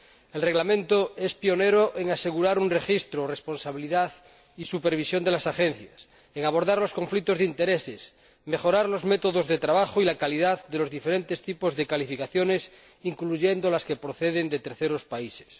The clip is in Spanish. El Reglamento es pionero en asegurar el registro, la responsabilidad y la supervisión de las agencias, en abordar los conflictos de intereses, mejorar los métodos de trabajo y la calidad de los diferentes tipos de calificaciones incluyendo las que proceden de terceros países.